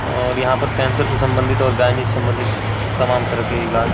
और यहाँ पे कैंसर से सम्बंधित और गायनी से सम्बंधित तमाम तरह के इलाज --